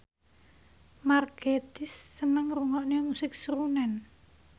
Mark Gatiss seneng ngrungokne musik srunen